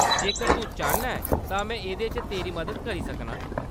जेकर तूं चाह्‌न्ना ऐं तां में एह्‌‌‌दे च तेरी मदद करी सकनां।